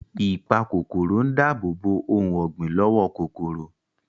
Ìpakòkòrò ń dáàbòbò ohun ọ̀gbìn lọ́wọ́ kòkòrò